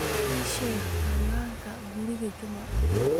ii sheeg ciwaanka guriga juma